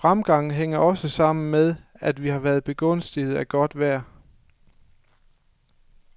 Fremgangen hænger også sammen med, at vi har været begunstiget af godt vejr.